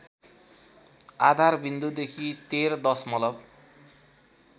आधारविन्दुदेखि १३ दशमलव